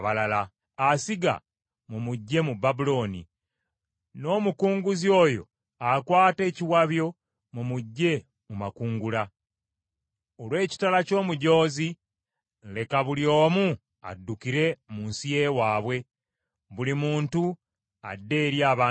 Asiga mumuggye mu Babulooni, n’omukunguzi oyo akwata ekiwabyo mumuggye mu makungula. Olw’ekitala ky’omujoozi, leka buli omu addukire mu nsi y’ewaabwe, buli muntu adde eri abantu be.